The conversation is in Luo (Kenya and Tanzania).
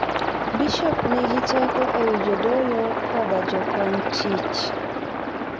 Bishop nigi teko e wi jodolo koda jokony tich.